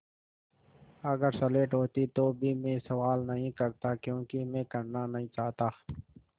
अगर स्लेट होती तो भी मैं सवाल नहीं करता क्योंकि मैं करना नहीं चाहता